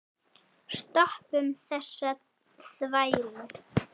Stoppum þessa þvælu.